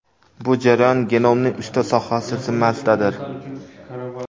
Bu jarayon genomning uchta sohasi zimmasidadir.